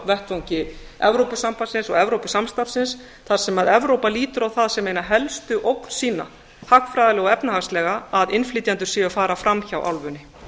vettvangi evrópusambandsins og evrópusamstarfsins þar sem evrópa lítur á það sem eina helstu ógn sína hagfræðilega og efnahagslega að innflytjendur séu að fara fram hjá álfunni